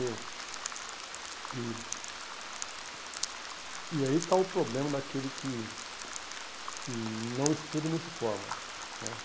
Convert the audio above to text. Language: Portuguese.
E e e aí está o problema daquele que que não estuda e não se forma né.